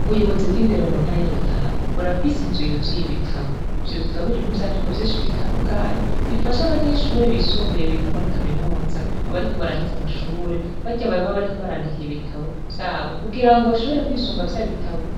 Ubuyobozi bw'indero mu ntara y'arutana burafise inzu yuzuye ibitabu ivyo bitabu birimwo ivyandiko vyinshi bitandukanye bifasha abanyeshure bisumbuye biga muri kaminuza abariko baraheze amashure barya baye babariko barandikiye ibitabo vyabo kugira ngo bashobore kwisunga vya bitabu